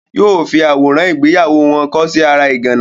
Yóò fi àwòrán ìgbéyàwó wọn kọ́ sí ara ìgànná.